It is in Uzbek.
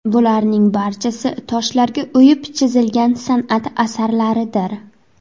Bularning barchasi toshlarga o‘yib chizilgan san’at asarlaridir.